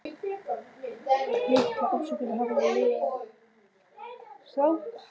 Litla afsökunarbrosið hafði lifað af, svohljóðandi